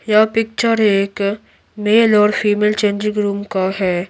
यह पिक्चर एक मेल और फीमेल चेंजिंग रूम का है।